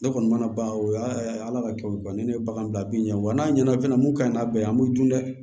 Ne kɔni mana ban o ye ala ka kɛw ye banni ne ye bagan bila bin wa n'a ɲɛna fɛnɛ mun ka ɲi n'a bɛɛ ye an b'u dun dɛ